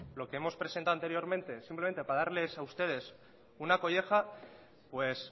lo que hemos presentado anteriormente simplemente para darle a ustedes una colleja pues